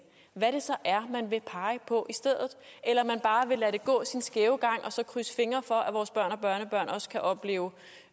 hvad det så er man vil pege på i stedet eller om man bare vil lade det gå sin skæve gang og så krydse fingre for at vores børn og børnebørn også kan opleve